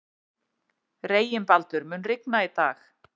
Reginbaldur, mun rigna í dag?